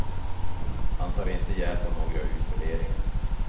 Han tar inte hjälp av några utvärderingar.